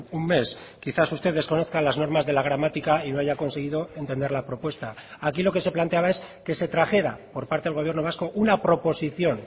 un mes quizás usted desconozca las normas de la gramática y no haya conseguido entender la propuesta aquí lo que se planteaba es que se trajera por parte del gobierno vasco una proposición